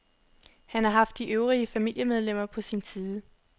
Han har haft de øvrige familiemedlemmer på sin side.